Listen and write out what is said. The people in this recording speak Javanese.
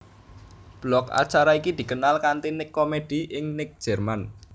Blok acara iki dikenal kanti Nick Comedy ing Nick Jerman